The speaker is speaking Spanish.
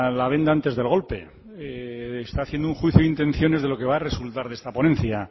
la venda antes del golpe está haciendo un juicio de intenciones de lo que va a resultar de esta ponencia